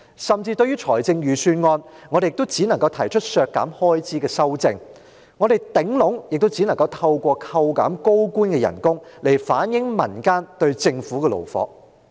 甚至對於預算案，我們也只能提出削減開支的修正案，透過削減高官的薪酬來反映民間對政府的怒火。